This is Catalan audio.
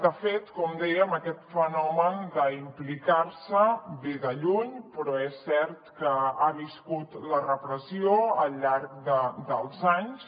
de fet com dèiem aquest fenomen d’implicar se ve de lluny però és cert que ha viscut la repressió al llarg dels anys